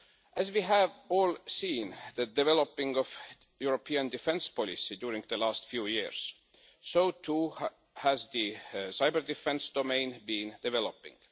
As we have all seen, with the development of the European defence policy over the last few years, so too has the cyber-defence domain been developing.